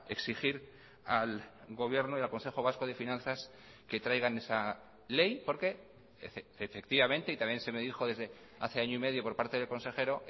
exigir al gobierno y al consejo vasco de finanzas que traigan esa ley porque efectivamente y también se me dijo desde hace año y medio por parte del consejero